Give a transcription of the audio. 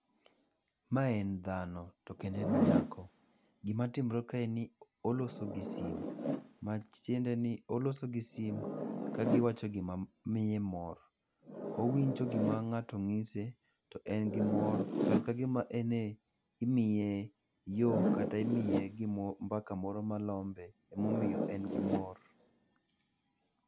Mae en dhano, to kendo en nyako. Gimatimre kae en ni oloso gi simu. Matiende ni oloso gi simu kagiwacho gimamiye mor. Owinjo gima ng'ato nyise, to en gi mor, chal ka gima imiye yo kata imiye mbaka moro malombe emomiyo en gi mor.